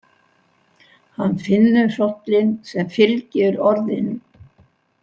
Hann finnur hrollinn sem fylgir orðinu.